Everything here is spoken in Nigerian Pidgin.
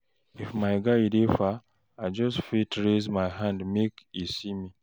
If my guy dey far, I fit just raise hand make e see me.